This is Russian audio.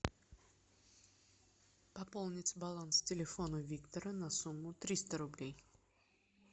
пополнить баланс телефона виктора на сумму триста рублей